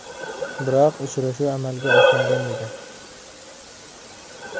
Biroq uchrashuv amalga oshmagan edi .